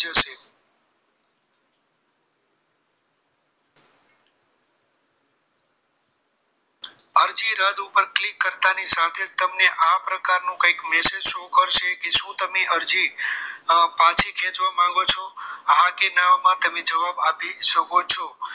રદ ઉપર click કરતાની સાથે તમને આ પ્રકારનું કંઈક message show કરશે કે શું તમે અરજી પાછી ખેંચવા માંગો છો? હા કે ના મા તેમને જવાબ આપી શકો છો